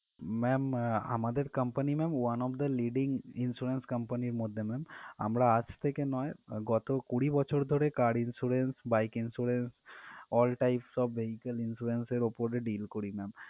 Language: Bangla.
Ma'am আমাদের company ma'am one of the leading insurance company র মধ্যে ma'am আমরা আজ থেকে নয় গত কুড়ি বছর ধরে car insurance, bike insurance all types of vehicles insurance এর উপরে deal করি ma'am ।